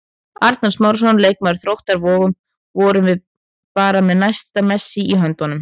Arnar Smárason, leikmaður Þróttar Vogum: Vorum við bara með næsta Messi í höndunum?